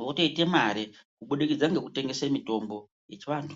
votoita mare kubudikidza ngekutengesa mitombo yechivantu.